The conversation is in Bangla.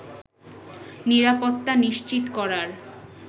নিরাপত্তা নিশ্চিত করার